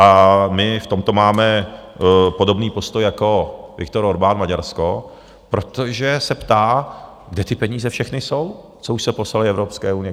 A my v tomto máme podobný postoj jako Viktor Orbán, Maďarsko, protože se ptá, kde ty peníze všechny jsou, co už se poslaly Evropské unii?